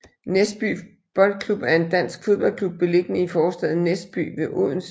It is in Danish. Næsby Boldklub er en dansk fodboldklub beliggende i forstaden Næsby ved Odense